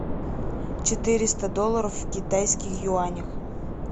четыреста долларов в китайских юанях